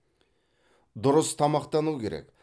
дұрыс тамақтану керек